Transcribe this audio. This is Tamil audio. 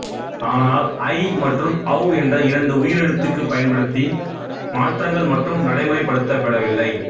ஆனால் ஐ மற்றும் ஔ என்ற இரண்டு உயிர் எழுத்துக்குப் பயன்படுத்தி மாற்றங்கள் மட்டும் நடைமுறைப் படுத்தப்படவில்லை